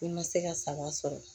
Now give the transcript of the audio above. I ma se ka saga sɔrɔ